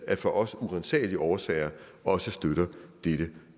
af for os uransagelige årsager også støtter dette